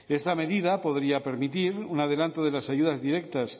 esta medida podría permitir un adelanto de las ayudas directas